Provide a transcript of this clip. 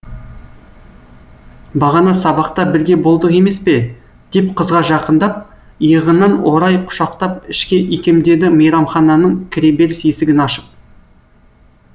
бағана сабақта бірге болдық емес пе деп қызға жақындап иығынан орай құшақтап ішке икемдеді мейрамхананың кіреберіс есігін ашып